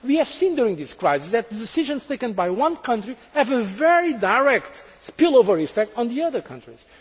We have seen during this crisis that the decisions taken by one country have a very direct spill over effect on the other countries.